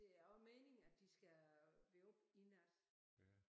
Det er også meningen at de skal være oppe i nat